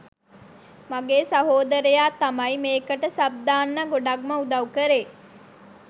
මගේ සහෝදරයා තමයි මේකට සබ් දාන්න ගොඩක්ම උදවු කරේ.